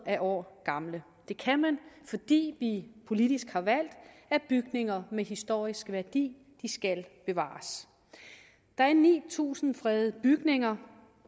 år gamle det kan man fordi vi politisk har valgt at bygninger med historisk værdi skal bevares der er ni tusind fredede bygninger